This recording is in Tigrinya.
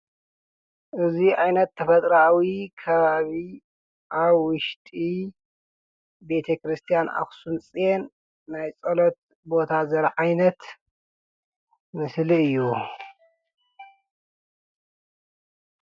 እዙይ ኣይነት ተፈጥራዊ ኸባቢ ኣብ ዉሽጢ ቤተ ክርስቲያን ኣክሱም ፅዮን ናይ ጸሎት ቦታ ዘርኢ ዓይነት ምስሊ እዩ